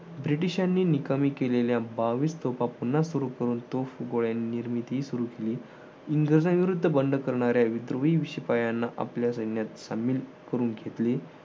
ब्रिटिशांनी निकामी केलेल्या बावीस तोफा पुन्हा सुरु करून तोफगोळे निर्मिती सुरु केली. इंग्रजांविरुद्ध बंड करणाऱ्या शिपायांना आपल्या सैन्यात शामिल करून घेतले.